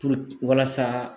Puruke walasa